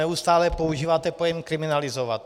Neustále používáte pojem kriminalizovat.